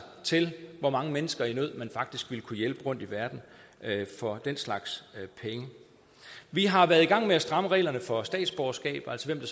til hvor mange mennesker i nød man faktisk ville kunne hjælpe rundtom i verden for den slags penge vi har været i gang med at stramme reglerne for statsborgerskab altså hvem